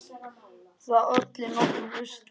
Það olli nokkrum usla.